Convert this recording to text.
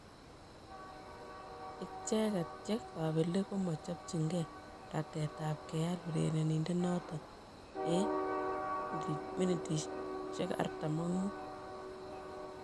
Icheget che kobelik komo chopchigee ratet ab keal urerenindet noton en �45m.